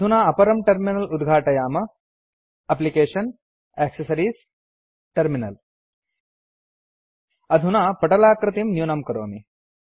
अधुना अपरं टर्मिनल उद्घाटयाम एप्लिकेशन्ग्टैक्सेस अधुना पटलाकृतिं न्यूनं करोमि